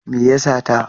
Me ya sata?